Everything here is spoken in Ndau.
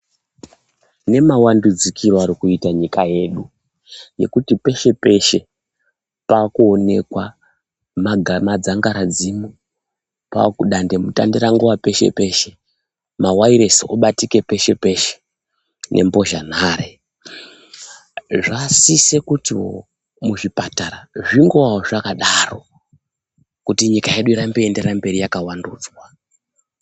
Nemawandidzikure arikuita nyika yedu ,yekuti peshe peshe pakuonekwa madzangari dzimu ,dande mutande rangova peshe peshe .Ma wayalesi aakubatika peshe peshe ,nembhozha nhare. Zva sise kuti muzvipatara zvingovawo zvakadaro, kuti nyika yedu iende mbiri yakangovandudzwa.